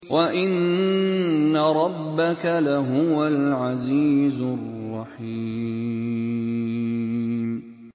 وَإِنَّ رَبَّكَ لَهُوَ الْعَزِيزُ الرَّحِيمُ